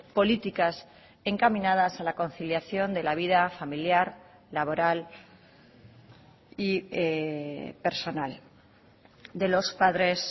políticas encaminadas a la conciliación de la vida familiar laboral y personal de los padres